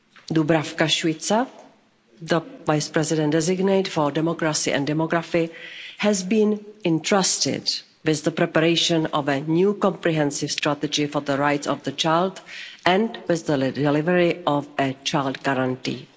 Dubravka Šuica, the Vice President designate for Democracy and Demography, has been entrusted with the preparation of a new comprehensive strategy for the rights of the child and with the delivery of a child guarantee.